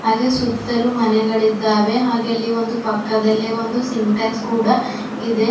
ಹಾಗೆ ಸುತ್ತಲೂ ಮನೆಗಳಿದ್ದಾವೆ ಹಾಗೆ ಅಲ್ಲಿ ಒಂದು ಪಕ್ಕದಲ್ಲೇ ಒಂದು ಸಿಂಟೆಕ್ಸ್ ಕೂಡ ಇದೆ.